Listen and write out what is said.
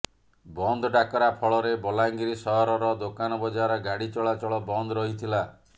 ବନ୍ଦ ଡାକରା ଫଳରେ ବଲାଙ୍ଗୀର ସହରର ଦୋକାନ ବଜାର ଗାଡ଼ି ଚଳାଚଳ ବନ୍ଦ ରହିଥିଲା